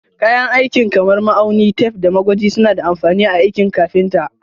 Kayan aikin kamar ma'aunin tef, da magwaji suna da amfani a aikin kafinta.